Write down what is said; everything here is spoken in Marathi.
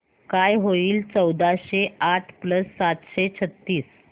काय होईल चौदाशे आठ प्लस सातशे छ्त्तीस